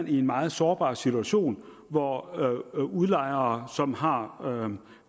i en meget sårbar situation hvor udlejere som har